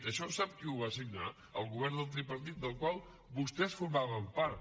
això sap qui ho va signar el govern del tripartit del qual vostès formaven part